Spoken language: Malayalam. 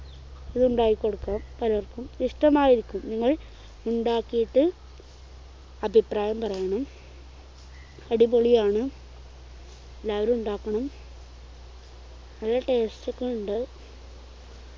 ഇതുണ്ടാക്കി കൊടുക്കാം പലർക്കും ഇഷ്ടമായിരിക്കും നിങ്ങൾ ഉണ്ടാക്കിട്ട് അഭിപ്രായം പറയണം അടിപൊളിയാണ് എല്ലാവരും ഉണ്ടാക്കണം നല്ല taste ഒക്കെ ഉണ്ട്